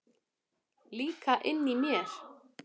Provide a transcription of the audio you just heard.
Líka inni í mér.